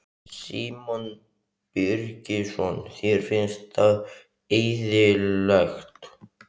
Símon Birgisson: Þér finnst það eðlilegt?